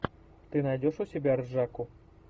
ты найдешь у себя ржаку